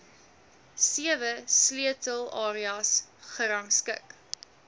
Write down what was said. sewe sleutelareas gerangskik